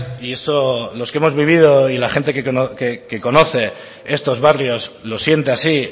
y eso los que hemos vivido y la gente que conoce estos barrios lo siente así